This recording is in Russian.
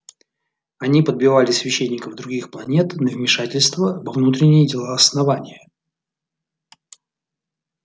они подбивали священников других планет на вмешательство во внутренние дела основания